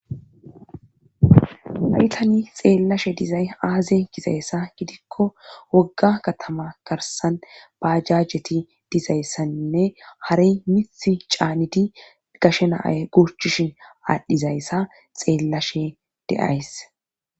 laytani xeellashe dizay aazen kizayssa gidikko wogga katama garsan baajajeti dizayssanne harey mith caanidi gashe naae gurchishin aadhdhizayssa xeellashe deays